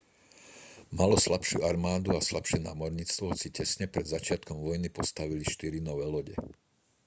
malo slabšiu armádu a slabšie námorníctvo hoci tesne pred začiatkom vojny postavili štyri nové lode